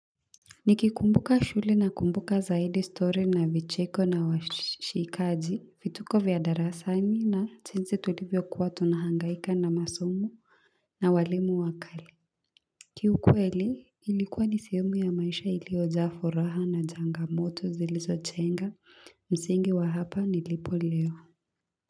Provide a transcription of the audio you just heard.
Nikikumbuka shule na kumbuka zaidi story na vicheko na washikaji, vituko vya darasani na jinsi tulivyokuwa tunahangaika na masomo na walimu wakali kiukweli ilikuwa ni sehemu ya maisha iliyojaa furaha na changamoto zilizo chenga msingi wa hapa nilipo leo.